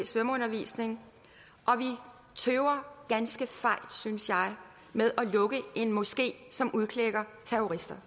svømmeundervisning og vi tøver ganske fejt synes jeg med at lukke en moské som udklækker terrorister